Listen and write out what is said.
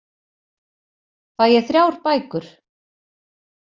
Fæ ég þrjár bækur?